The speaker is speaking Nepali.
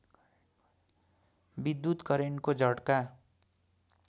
विद्युत् करेन्टको झट्का